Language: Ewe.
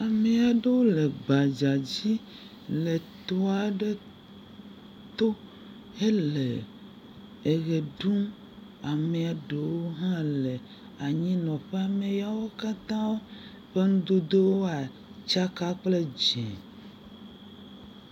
Ame aɖewo le gbadzadzi le tɔ aɖe to hele eʋe ɖum. Amea ɖewo hã le anyinɔƒe. Ame yawo katã ƒe nudodowoa, tsaka kple dzẽ.